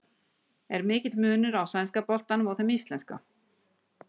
Er mikill munur á sænska boltanum og þeim íslenska?